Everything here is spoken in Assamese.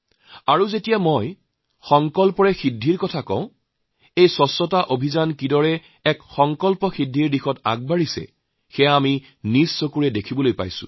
মই যেতিয়া সংকল্প সাধনৰ কথা কওঁ তেতিয়া আমাৰ এই স্বচ্ছতা অভিযানৰ সংকল্প সাধনৰ পথত কেনেদৰে আগুৱাইছে সেয়া আমি চকুৰ আগতে দেখিছো